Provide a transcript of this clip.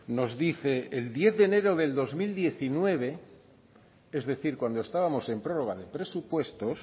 nos dice el diez de enero de dos mil diecinueve es decir cuando estábamos en prorroga de presupuestos